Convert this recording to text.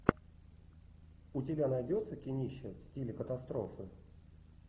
у тебя найдется кинище в стиле катастрофы